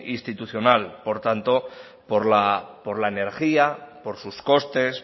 institucional por tanto por la energía por sus costes